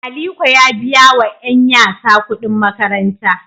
Aliko ya biya wa ;yanyasa kudin makaranta.